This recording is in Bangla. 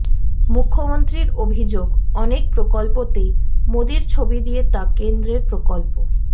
মুখ্যমন্ত্রীর অভিযোগ অনেক প্রকল্পতেই মোদীর ছবি দিয়ে তা কেন্দ্রের প্রকল্প